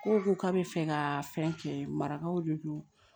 Kow ko k'a bɛ fɛ ka fɛn kɛ marakaw de don